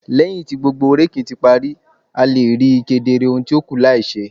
Lẹhin ti gbogbo raking ti pari, a le rii kedere ohun ti o kù lai ṣe